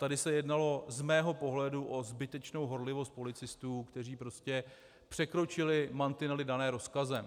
Tady se jednalo z mého pohledu o zbytečnou horlivost policistů, kteří prostě překročili mantinely dané rozkazem.